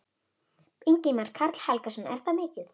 Ingimar Karl Helgason: Er það mikið?